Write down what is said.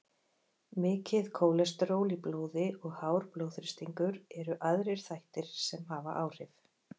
Mikið kólesteról í blóði og hár blóðþrýstingur eru aðrir þættir sem hafa áhrif.